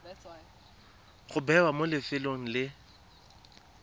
go bewa mo lefelong le